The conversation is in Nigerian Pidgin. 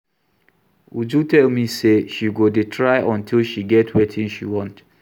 Uju tell me say she go dey try until she get wetin she want